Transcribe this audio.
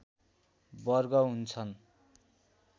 वर्ग हुन्छन्